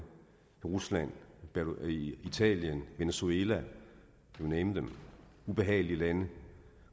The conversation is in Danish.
rusland italien venezuela you name them ubehagelige lande